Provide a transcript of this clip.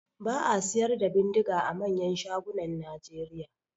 Ba a siyar da bindiga a manyan shagunan Nigeria.